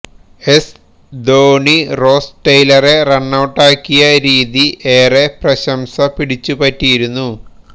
S Dhoni Ross ടെയ്ലറെ റണ്ണൌട്ടാക്കിയ രീതി ഏറെ പ്രശംസ പിടിച്ചു പറ്റിയിരുന്നു